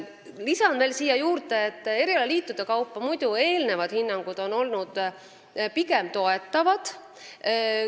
Lisan veel siia juurde, et erialaliitude varasemad hinnangud on muidu olnud toetavad.